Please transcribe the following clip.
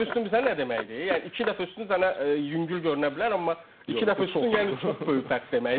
İki dəfə üstün bilirsən nə deməkdir, yəni iki dəfə üstün sənə yüngül görünə bilər, amma iki dəfə üstün yəni çox böyük fərq deməkdir.